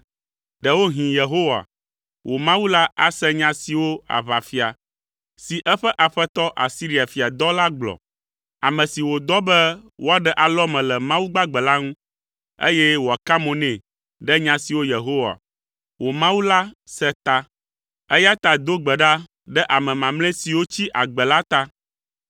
Ɖewohĩ Yehowa, wò Mawu la ase nya siwo aʋafia, si eƒe aƒetɔ Asiria fia dɔ la gblɔ. Ame si wòdɔ be woaɖe alɔme le Mawu gbagbe la ŋu, eye wòaka mo nɛ ɖe nya siwo Yehowa, wò Mawu la se ta. Eya ta do gbe ɖa ɖe ame mamlɛ siwo tsi agbe la ta.”